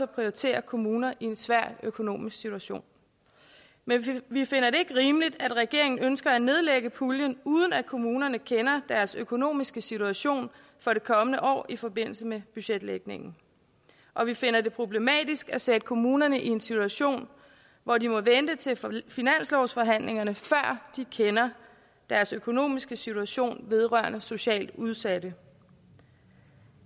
prioritere kommuner i en svær økonomisk situation men vi finder det ikke rimeligt at regeringen ønsker at nedlægge puljen uden at kommunerne kender deres økonomiske situation for det kommende år i forbindelse med budgetlægningen og vi finder det problematisk at sætte kommunerne i en situation hvor de må vente til finanslovsforhandlingerne før de kender deres økonomiske situation vedrørende socialt udsatte